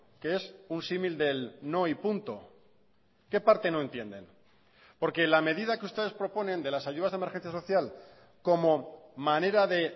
que es un símil del no y punto qué parte no entienden porque la medida que ustedes proponen de las ayudas de emergencia social como manera de